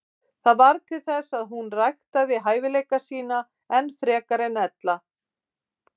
Það varð til þess að hún ræktaði hæfileika sína enn frekar en ella.